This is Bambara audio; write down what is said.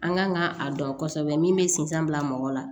An kan ka a dɔn kosɛbɛ min bɛ sinsan bila mɔgɔ la